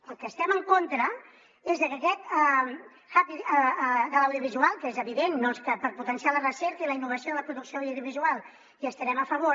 del que estem en contra és de que aquest hub de l’audiovisual que és evident que per potenciar la recerca i la innovació de la producció audiovisual hi es·tarem a favor